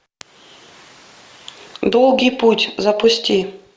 долгий путь запусти